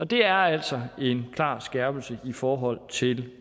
det er altså en klar skærpelse i forhold til